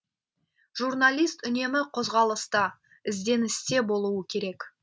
жүрналист үнемі қозғалыста ізденісте болуы керек